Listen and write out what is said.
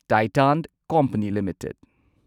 Titan company limited